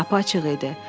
Qapı açıq idi.